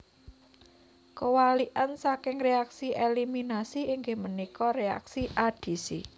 Kawalikan saking reaksi eliminasi inggih punika reaksi adisi